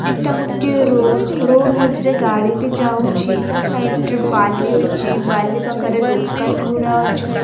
ଏଇଟା ଗୋଟିଏ road road ମଝିରେ ଗାଡ଼ି ବି ଯାଉଛି ତା ସାଇଡ଼୍ ରେ ବାଲି ଅଛି ବାଲି ପାଖରେ ଦୋକାନ ଗୁଡ଼ା ଅଛି ଏ--